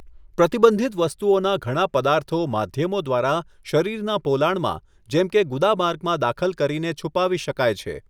પ્રતિબંધિત વસ્તુઓના ઘણા પદાર્થો માધ્યમો દ્વારા શરીરના પોલાણમાં, જેમ કે ગુદામાર્ગમાં દાખલ કરીને છુપાવી શકાય છે.